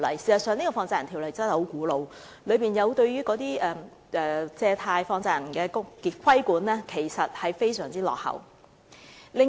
事實上，《條例》的確很古老，當中對於借貸或放債人的規管非常落後。